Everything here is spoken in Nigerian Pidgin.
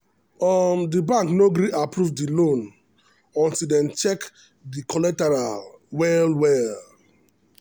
um the bank no gree approve the loan until dem check the collateral well well.